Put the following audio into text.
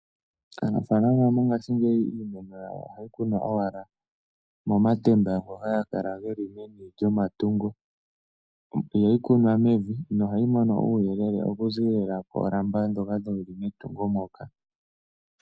Aanafaalama oyendji mongashingeyi iimeno yawo ohayi kunwa owala momatemba ngoka haga kala geli momatungo. Ihayi kunwa mevi, ohayi mono uuyelele okuziilila koolamba ndhoka dhili metungo moka.